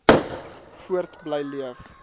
voort bly leef